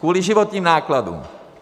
Kvůli životním nákladům.